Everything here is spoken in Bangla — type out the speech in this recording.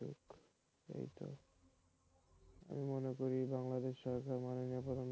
আমি মনে করি বাংলাদেশ সরকার মাননীয় প্রধানমন্ত্রী,